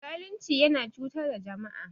Zalunci yana cutar da jama'a.